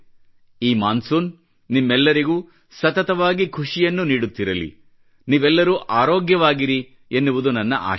ಈ ಮಾನ್ಸೂನ್ ನಿಮ್ಮೆಲ್ಲರಿಗೂ ಸತತವಾಗಿ ಖುಷಿಯನ್ನು ನೀಡುತ್ತಿರಲಿ ನೀವೆಲ್ಲರೂ ಆರೋಗ್ಯವಾಗಿರಿ ಎನ್ನುವುದು ನನ್ನ ಆಶಯ